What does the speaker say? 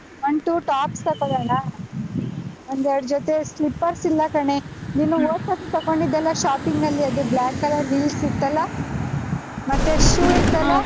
One, two tops ತಕೋಳೋಣ, ಒಂದೆರಡ್ ಜೊತೆ slippers ಇಲ್ಲ ಕಣೇ, ಹೋದ್ ಸರ್ತಿ ತಕೊಂಡಿದ್ದೀಯಲ್ಲ shopping ಅಲ್ಲಿ, ಅದೇ black color heels ಇತ್ತಲ್ಲ shoe ಇತ್ತಲ್ಲಾ.